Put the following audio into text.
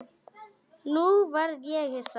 Nú varð ég hissa.